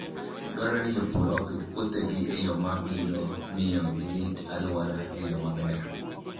Dwarore ni jopur opidh puothegi e yo ma biro miyo girit alwora e yo maber.